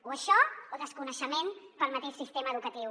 o això o desconeixement del mateix sistema educatiu